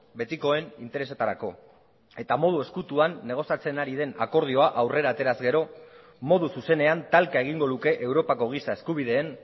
betikoen interesetarako eta modu ezkutuan negoziatzen ari den akordioa aurrera ateraz gero modu zuzenean talka egingo luke europako giza eskubideen